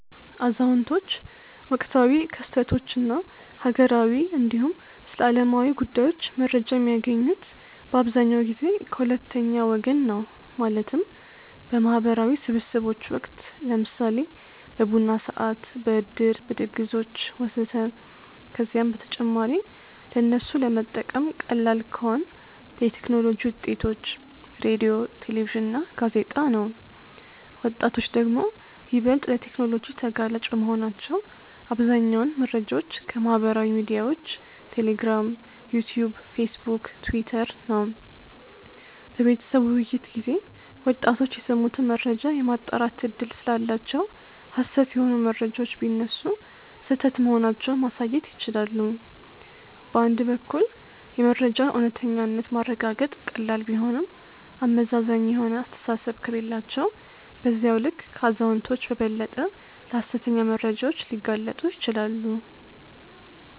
አዛውንቶች ወቅታዊ ክስተቶች እና ሀገራዊ እንዲሁም ስለዓለማዊ ጉዳዮች መረጃ የሚያገኙት በአብዛኛው ጊዜ ከ ሁለተኛ ወገን ነው ማለትም፦ በ ማህበራዊ ስብስቦች ወቅት(ለምሳሌ በቡና ሰዓት፣ በዕድር፣ በድግሶች ወዘተ...) ከዚያም በተጨማሪ ለነሱ ለመጠቀም ቀላል ከሆን የቴክኖሎጂ ውጤቶች(ሬድዮ፣ ቴሌቪዥን እና ጋዜጣ) ነው። ወጣቶች ደግሞ ይበልጥ ለቴክኖሎጂ ተጋላጭ በመሆናቸው አብዛኛውን መረጃዎች ከ ማህበራዊ ሚድያዎች(ቴሌግራም፣ ዩትዩብ፣ ፌስቡክ፣ ቲውተር...) ነው። በቤተሰብ ውይይት ጊዜ ወጣቶች የሰሙትን መረጃ የማጣራት እድል ስላላቸው ሀሰት የሆኑ መረጃዎች ቢነሱ ስህተት መሆናቸውን ማሳየት ይችላሉ። በአንድ በኩል የመረጃን እውነተኛነት ማረጋገጥ ቀላል ቢሆንም አመዛዛኝ የሆነ አስተሳሰብ ከሌላቸው በዚያው ልክ ከአዛውንቶች በበለጠ ለሀሰተኛ መረጃዎች ሊጋለጡ ይችላሉ።